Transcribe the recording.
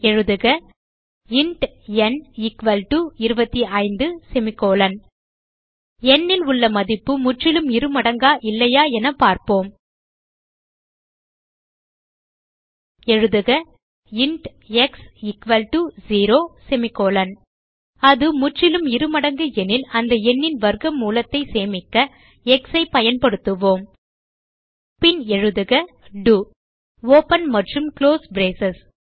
எழுதுக இன்ட் ந் 25 n ல் உள்ள மதிப்பு முற்றிலும் இருமடங்கா இல்லையான என பார்ப்போம் எழுதுக இன்ட் எக்ஸ் 0 அது முற்றிலும் இருமடங்கு எனில் அந்த எண்ணின் வர்க்க மூலத்தை சேமிக்க எக்ஸ் ஐ பயன்படுத்துவோம் பின் எழுதுக டோ ஒப்பன் மற்றும் குளோஸ் பிரேஸ்